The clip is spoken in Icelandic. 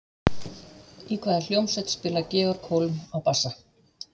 Í hvaða hljómsveit spilar Georg Holm á bassa?